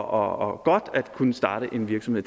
og godt at kunne starte en virksomhed